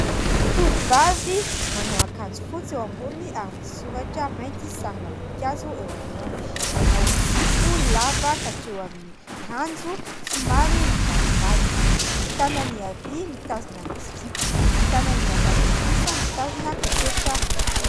Tovovavy manao ankanjo fotsy eo amboniny ary misy soratra mainty sarina voninkazo eo anoloany. Manao zipo lava ka hatreo amin'ny ranjo somary mivalombalona, ny tanany havia mitazona ny zipo, ny tanany ny havanana kosa mitazona kopetra mainty.